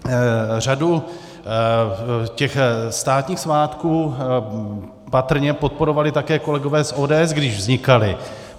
Řadu těch státních svátků patrně podporovali také kolegové z ODS, když vznikaly.